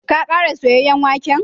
Ka kara soyayen waken?